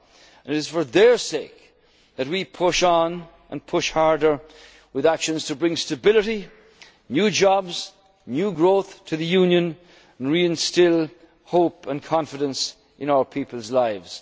our resolve. And it is for their sake that we push on and push harder with actions to bring stability, new jobs, new growth to the Union and reinstil hope and confidence